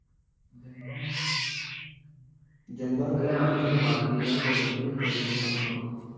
અલ્યા હાજી બાકી હ. હેડ મુ જામી લાઉ પછી તન phone કરું.